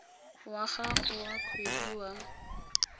wa gago wa kgwedi wa